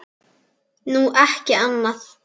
Nú, ekki annað.